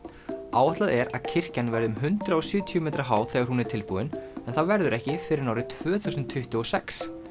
áætlað er að kirkjan verði um hundrað og sjötíu metra há þegar hún er tilbúin en það verður ekki fyrr en árið tvö þúsund tuttugu og sex